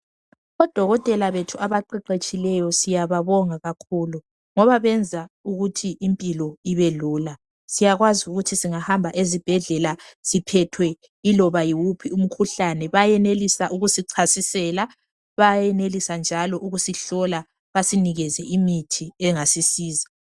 Odokotela bethu abaqeqetshileyo siyababonga kakhulu ngoba benza ukuthi impilo ibe Lula siyakwazi ukuthi singahamba esibhedlela siphethwe iloba yiwuphi umkhuhlane beyenelisa ukusichasisela, bayenelisa njalo ukusihlola basinike njalo basinikeze imithi engasisiza.